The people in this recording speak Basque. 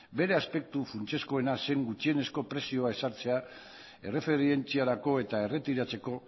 beste aspektu funtsezkoena zen gutxienezko prezioa ezartzea erreferentziarako eta erretiratzeko